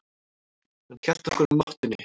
Hann hélt okkur á mottunni.